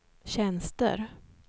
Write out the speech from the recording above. tjänster